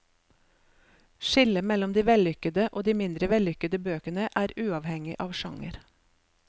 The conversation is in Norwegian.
Skillet mellom de vellykede og de mindre vellykkede bøkene er uavhengig av sjanger.